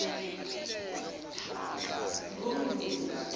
nguguni